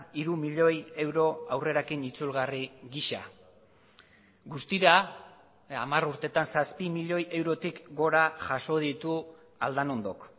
hiru milioi euro aurrerakin itzulgarri gisa guztira hamar urteetan zazpi milioi eurotik gora jaso ditu aldanondok